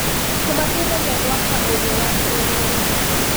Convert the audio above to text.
Kũmateithagia gwaka ũũgĩ wa kĩrũrĩrĩ.